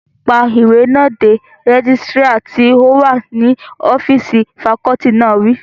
Pa ìwé náà dé! rẹ́gísírà tí ó wà ní ọ́físì fakọọti náà wí